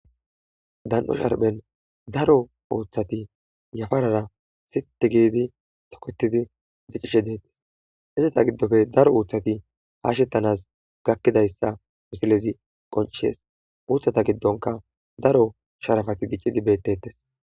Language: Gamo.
Dan'o sharphen daro uuthati yafarara siti giidi toketidi diccishe deetis hizeta giddofe daro uuthati haashettanas gakkidayssa misilezi qoncishes muuthata giddonka daro sharafati diccidi bettetes.